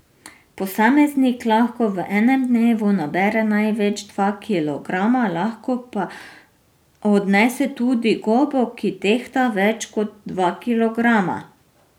Posameznik lahko v enem dnevu nabere največ dva kilograma, lahko pa odnese tudi gobo, ki tehta več kot dva kilograma.